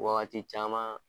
Wagati caman